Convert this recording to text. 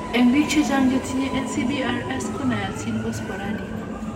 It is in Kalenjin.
En biik chechang chetinye NCBRS ko nayatin ko sporadic